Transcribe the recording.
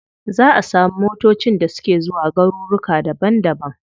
Za a samu motacin da suke zuwa garuruka daban daban.